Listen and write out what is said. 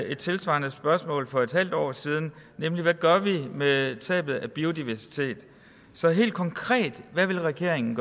et tilsvarende spørgsmål for et halvt år siden nemlig hvad vi gør med tabet af biodiversitet så helt konkret hvad vil regeringen